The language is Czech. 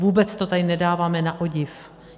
Vůbec to tady nedáváme na odiv.